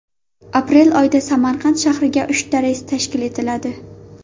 Aprel oyida Samarqand shahriga uchta reys tashkil etiladi.